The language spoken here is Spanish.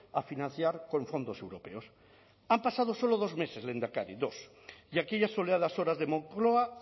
a financiar con fondos europeos han pasado solo dos meses lehendakari dos y aquellas soleadas horas de moncloa